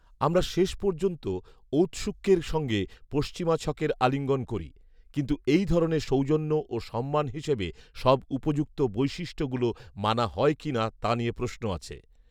আমরা শেষ পর্যন্ত ঔতসুক্যের সঙ্গে পশ্চিমা ছকের আলিঙ্গন করি। কিন্তু এই ধরনের সৌজন্য ও সম্মান হিসাবে সব উপযুক্ত বৈশিষ্ট্যগুলো মানা হয় কি না, তা নিয়ে প্রশ্ন আছে।